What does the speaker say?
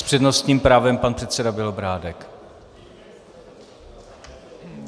S přednostním právem pan předseda Bělobrádek.